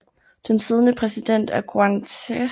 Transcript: Den siddende præsident er Guðni Th